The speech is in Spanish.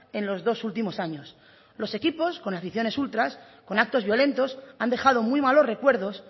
en los dos últimos años los equipos con aficiones ultras con actos violentos han dejado muy malos recuerdos